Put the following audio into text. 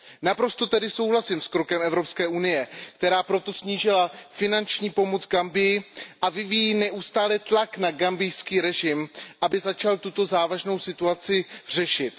Naprosto tedy souhlasím s krokem Evropské unie, která proto snížila finanční pomoc Gambii a vyvíjí neustále tlak na gambijský režim, aby začal tuto závažnou situaci řešit.